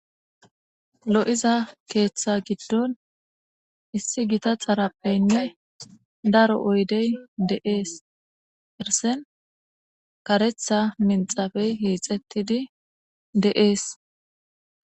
Lo7iza keeththa giddon issi gita xarappeynne daro oydey deees ersen karetha minxafey hiixettidi de7ees